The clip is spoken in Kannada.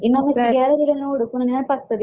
ಇನ್ನೊಮ್ಮೆ gallery ಯೆಲ್ಲ ನೋಡು ಪುನ ನೆನಪಾಗುತ್ತದೆ.